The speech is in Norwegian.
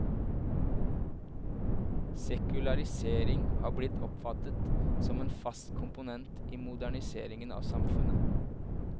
Sekularisering har blitt oppfattet som en fast komponent i moderniseringen av samfunnet.